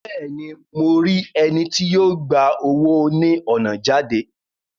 Bẹẹni, Mo ri ẹni tí yó gbà owo ni ọna jáde